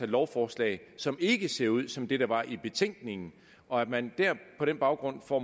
lovforslag som ikke ser ud som det der var i betænkningen og at man på den baggrund får